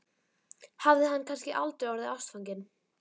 Hafði hann kannski aldrei orðið ástfanginn?